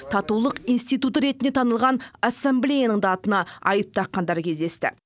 татулық институты ретінде танылған ассамблеяның да атына айып таққандар кездесті